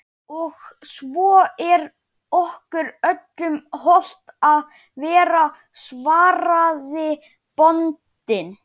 Og svo er okkur öllum hollt að vera, svaraði bóndinn.